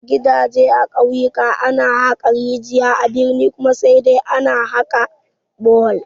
Gidaje a ƙauyaku ana haƙa rijaya, a birni kuma sai dai a haƙa bohol